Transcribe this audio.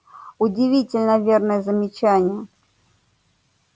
удивительно верное замечание